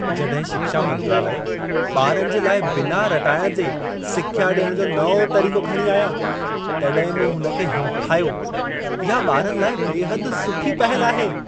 जॾहिं शिक्षा मंत्रालय ॿारनि जे लाइ बिना रटाइण जे सिख्या ॾियण जो नओं तरीक़ो खणी आया, तॾहिं मूं हुन खे हिमथायो। इहा ॿारनि लाइ बेहदि सुठी पहल आहे।